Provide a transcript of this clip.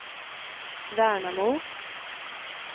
Värnamo